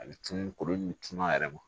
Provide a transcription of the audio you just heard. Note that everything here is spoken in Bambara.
A bɛ cun kulu in tun a yɛrɛ ma